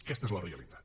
aquesta és la realitat